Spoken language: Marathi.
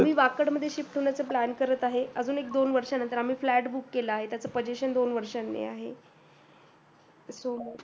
मी वाकड मध्ये shift होण्याचं plan करत आहे. अजून एक दोन वर्षांनंतर आम्ही flat book केलाय. त्याचं possession दोन वर्षानी आहे.